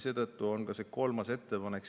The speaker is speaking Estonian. Seetõttu on ka see kolmas ettepanek.